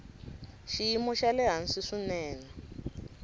xiyimo xa le hansi swinene